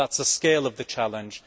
That is the scale of the challenge.